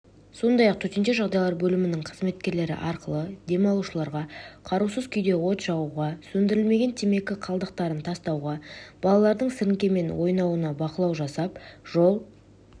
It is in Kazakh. сондай-ақ төтенше жағдайлар бөлімінің қызметкерлері арқылы демалушыларғы қарусыз күйде от жағуға сөндірілмеген темекі қалдықтарын тастауға балалардың сіріңкемен ойнауына бақылау жасап жол